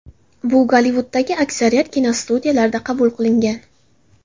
Bu Gollivuddagi aksariyat kinostudiyalarda qabul qilingan.